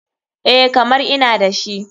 EH, kamar ina dashi.